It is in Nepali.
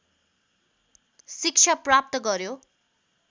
शिक्षा प्राप्त गर्‍यो